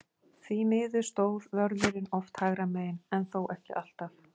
Því miður stóð vörðurinn oft hægra megin, en þó ekki alltaf.